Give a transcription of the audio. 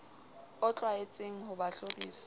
o tlwaetseng ho ba hlorisa